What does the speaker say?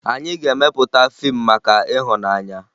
Anyị ga-emepụta fiimu maka ịhụnanya